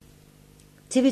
TV 2